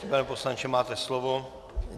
Pane poslanče, máte slovo.